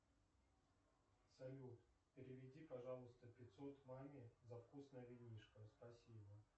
салют переведи пожалуйста пятьсот маме за вкусное винишко спасибо